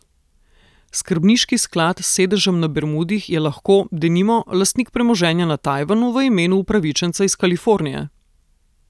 Skrbniški sklad s sedežem na Bermudih je lahko, denimo, lastnik premoženja na Tajvanu v imenu upravičenca iz Kalifornije.